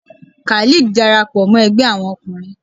Khalid darapọ mọ Ẹgbẹ Awọn ọkunrin